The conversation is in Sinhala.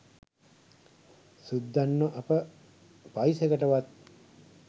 සුද්දන්ව අප පයිසෙකට වත්